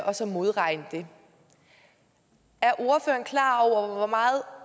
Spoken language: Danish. og så modregne det er ordføreren klar over hvor meget